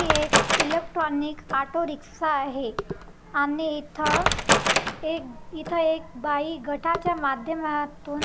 हि एक electronic auto rickshaw आहे आणि इथ एक इथ एक बाई घटाच्या माध्यमातून--